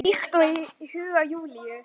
Líkt og í huga Júlíu.